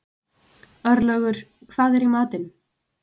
Örlaugur, hvað er í matinn?